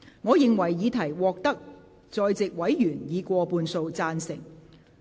我認為議題獲得在席委員以過半數贊成。